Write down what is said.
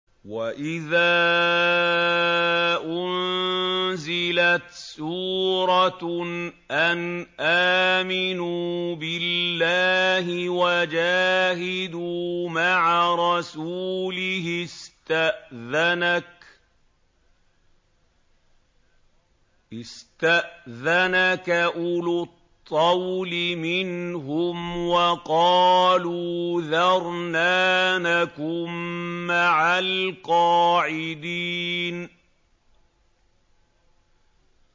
وَإِذَا أُنزِلَتْ سُورَةٌ أَنْ آمِنُوا بِاللَّهِ وَجَاهِدُوا مَعَ رَسُولِهِ اسْتَأْذَنَكَ أُولُو الطَّوْلِ مِنْهُمْ وَقَالُوا ذَرْنَا نَكُن مَّعَ الْقَاعِدِينَ